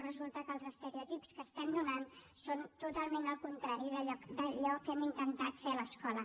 resulta que els estereotips que estem donant són totalment el contrari d’allò que hem intentat fer a l’escola